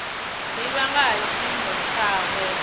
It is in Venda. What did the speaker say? divha nga ha tshiimo tshawe